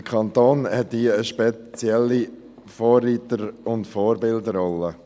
Der Kanton hat hier eine spezielle Vorreiter- und Vorbildrolle.